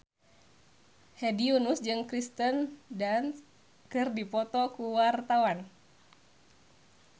Hedi Yunus jeung Kirsten Dunst keur dipoto ku wartawan